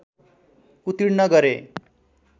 उत्तीर्ण गरे